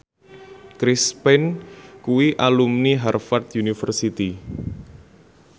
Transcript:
Chris Pane kuwi alumni Harvard university